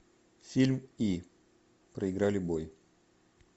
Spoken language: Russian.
фильм и проиграли бой